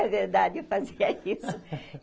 É verdade, eu fazia isso.